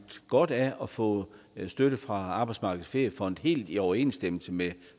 godt af at få støtte fra arbejdsmarkedets feriefond helt i overensstemmelse med